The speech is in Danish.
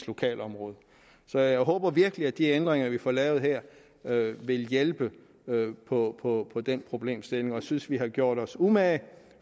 lokalområdet så jeg håber virkelig at de ændringer vi får lavet her vil hjælpe på på den problemstilling jeg synes vi har gjort os umage